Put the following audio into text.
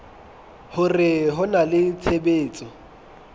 hore ho na le tshebetso